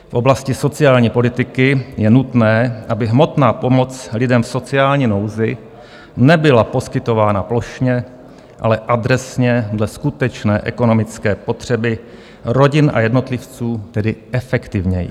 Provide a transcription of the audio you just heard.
V oblasti sociální politiky je nutné, aby hmotná pomoc lidem v sociální nouzi nebyla poskytována plošně, ale adresně dle skutečné ekonomické potřeby rodin a jednotlivců, tedy efektivněji.